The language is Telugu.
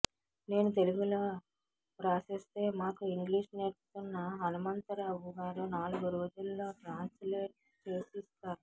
నేను తెలుగులో వ్రాసేస్తే మాకు ఇంగ్లీష్ నేర్పుతున్న హనుమంతరావు గారు నాలుగు రోజుల్లో ట్రాన్స్ లేట్ చేసి ఇస్తారు